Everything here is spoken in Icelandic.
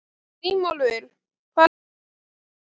Grímólfur, hvaða leikir eru í kvöld?